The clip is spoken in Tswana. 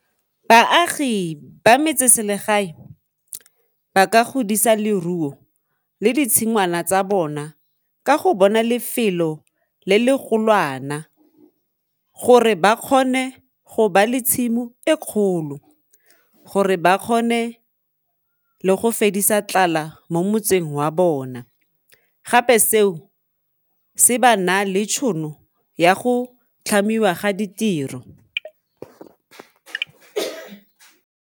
Baagi ba metseselegae ba ka godisa leruo le ditshingwana tsa bona ka go bona lefelo le le golwana gore ba kgone go ba le tshimo e kgolo, gore ba kgone le go fedisa tlala mo motseng wa bona, gape seo se ba na le tšhono ya go tlhamiwa ga ditiro.